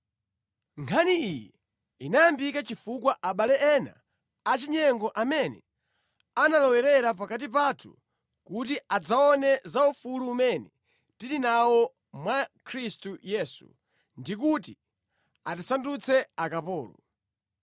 Nkhani iyi inayambika chifukwa abale ena achinyengo amene analowerera pakati pathu kuti adzaone za ufulu umene tili nawo mwa Khristu Yesu ndikuti atisandutse akapolo.